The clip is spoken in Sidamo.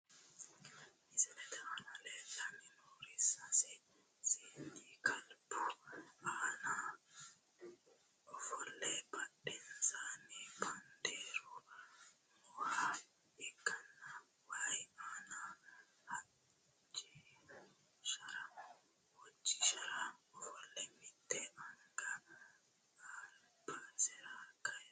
Misilet aana leelani noori sase seeni kalbu aana ofole badhensaani bandeeru mooha ikanna wayi aani hodjishira ofole mitte anga albisera kayise no.